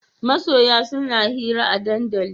Masoya suna hira a dandali